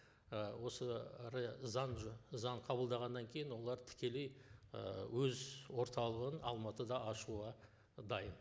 і осы заң заң қабылдағаннан кейін олар тікелей ы өз орталығын алматыда ашуға дайын